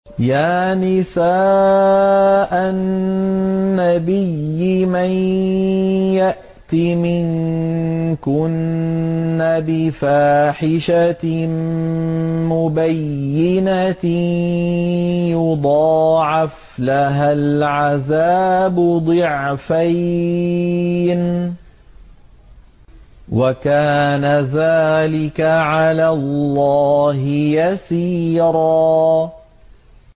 يَا نِسَاءَ النَّبِيِّ مَن يَأْتِ مِنكُنَّ بِفَاحِشَةٍ مُّبَيِّنَةٍ يُضَاعَفْ لَهَا الْعَذَابُ ضِعْفَيْنِ ۚ وَكَانَ ذَٰلِكَ عَلَى اللَّهِ يَسِيرًا